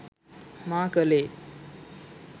මා කළේ